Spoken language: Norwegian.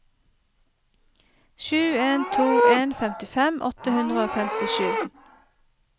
sju en to en femtifem åtte hundre og femtisju